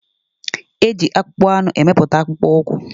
E ji akpụkpọanụ emepụta akpụkpọ ụkwụ.